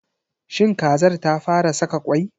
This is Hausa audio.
Shin kazar ta fa ra saka kwai?